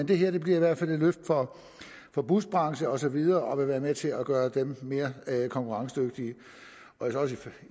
det her bliver i hvert fald et løft for busbranchen og så videre og vil være med til at gøre dem mere konkurrencedygtige